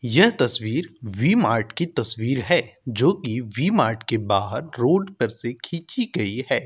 यह तस्वीर V Mart की तस्वीर है जोकि वी मार्ट के बाहर रोड पर से खींची गई है।